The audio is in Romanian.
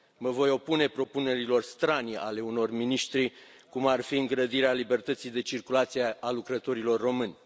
Mă voi opune propunerilor stranii ale unor miniștri, cum ar fi îngrădirea libertății de circulație a lucrătorilor români.